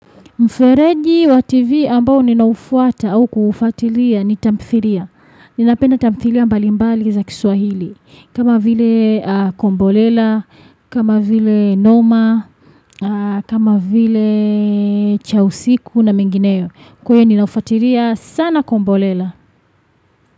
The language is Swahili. Mfereji wa TV ambao ninaufuata au kuufatilia ni tamthilia. Ninapenda tamthilia mbalimbali za kiswahili. Kama vile kombolela, kama vile noma, kama vileee chausiku na mengineyo. Kweni nafuatilia sana kombolela.